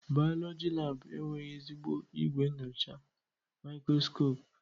Bayọlọji laabụ enweghị ezigbo igwe nyocha maikroskopu.